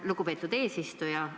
Lugupeetud eesistuja!